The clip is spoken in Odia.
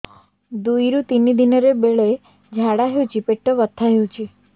ଦୁଇରୁ ତିନି ଦିନରେ ବେଳେ ଝାଡ଼ା ହେଉଛି ପେଟ ବଥା ହେଉଛି